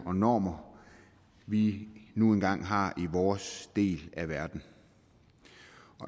og normer vi nu engang har i vores del af verden